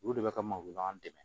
Olu de bɛ ka make ɲɔgɔn